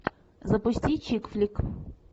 запусти чикфлик